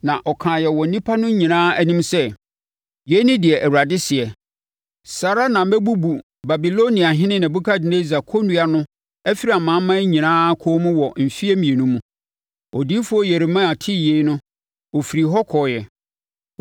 na ɔkaeɛ wɔ nnipa no nyinaa anim sɛ, “Yei ne deɛ Awurade seɛ: ‘Saa ara na mɛbubu Babiloniahene Nebukadnessar kɔnnua no afiri amanaman nyinaa kɔn mu wɔ mfeɛ mmienu mu.’ ” Odiyifoɔ Yeremia tee yei no ɔfirii hɔ kɔeɛ.